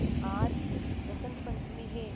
आज बसंत पंचमी हैं